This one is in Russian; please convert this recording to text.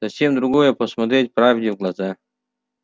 совсем другое посмотреть правде в глаза